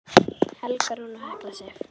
Helga Rún og Hekla Sif.